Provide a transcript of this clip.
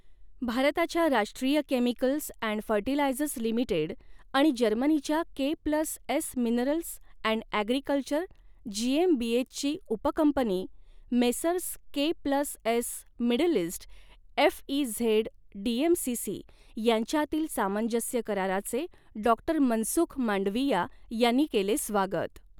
भारताच्या Rashtriya chemicals and fertilisers limited आणि जर्मनीच्या K plus S minerals and agriculture जीएमबीएचची उपकंपनी Messrs K plus S Middle East FZE DMCC यांच्यातील सामंजस्य कराराचे डॉ मनसुख मांडविया यांनी केले स्वागत